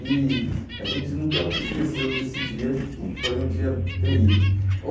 E a gente nunca esqueceu desse dia que foi um dia terrível.